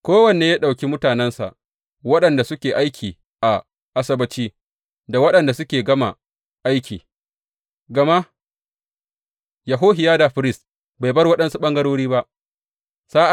Kowanne ya ɗauki mutanensa, waɗanda suke aiki a Asabbaci da waɗanda suka gama aiki, gama Yehohiyada firist bai bar waɗansu ɓangarori ba.